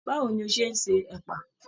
Báwo ní o ṣe n ṣe ẹpa?